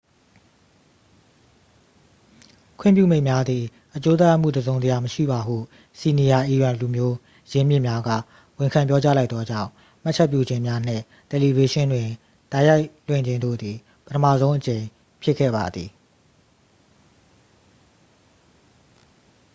ခွင့်ပြုမိန့်များသည် အကျိုးသက်ရောက်မှု တစ်စုံတစ်ရာမရှိပါဟု စီနီယာ အီရန်လူမျိုး ရင်းမြစ်များက ဝန်ခံပြောကြား လိုက်သောကြောင့် မှတ်ချက်ပြုခြင်းများနှင့် တယ်လီဗေးရှင်းတွင် တိုက်ရိုက်လွှင့်ခြင်းတို့သည် ပထမဆုံးအကြိမ်ဖြစ်ခဲ့ပါသည်